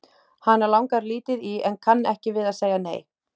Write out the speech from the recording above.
Hana langar lítið í en kann ekki við að segja nei.